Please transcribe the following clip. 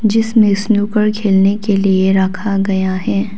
जिसमे स्नूकर खेलने के लिए रखा गया है।